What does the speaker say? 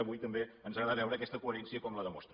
avui també ens agradarà veure aquesta coherència com la demostra